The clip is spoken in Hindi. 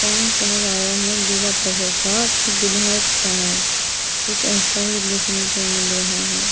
कौन चलवाया हुआ जिला प्रशासन विधायक साहब कुछ ऐसा हे दिख रहा है।